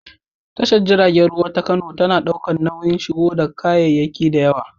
Tashar jiragen ruwa ta Kano na ɗaukar nauyin shigo da kayayyaki da yawa.